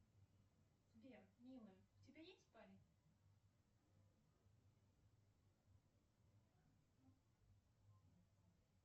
сбер милая у тебя есть парень